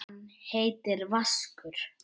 Hann heitir Vaskur.